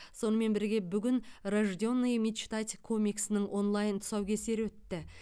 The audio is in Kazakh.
сонымен бірге бүгін рожденные мечтать комиксінің онлайн тұсаукесері өтті